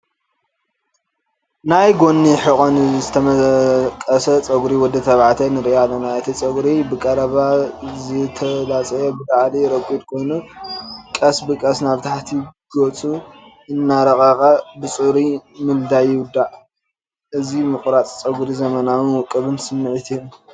ናይ ጎኒን ሕቖን ዝተመቐሰ ጸጉሪ ወዲ ተባዕታይ ንሪኢ ኣለና። እቲ ጸጉሪ ብቐረባ ዝተላጽየ፡ ብላዕሊ ረጒድ ኮይኑ ቀስ ብቐስ ናብ ታሕቲ ገጹ እናረቐቐ ብጽሩይ ምልጻይ ይውዳእ። እዚ ምቑራጽ ጸጉሪ ዘመናውን ውቁብን ስምዒት ይህብ።